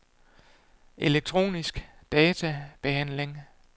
elektronisk databehandling